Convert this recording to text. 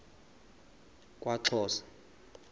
kwaxhosa